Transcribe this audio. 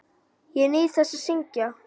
Ég nýt þess að syngja.